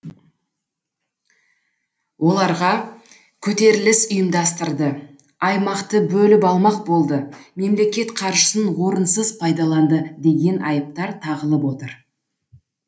оларға көтеріліс ұйымдастырды аймақты бөліп алмақ болды мемлекет қаржысын орынсыз пайдаланды деген айыптар тағылып отыр